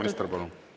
Proua minister, palun!